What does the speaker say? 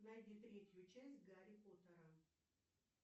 найди третью часть гарри поттера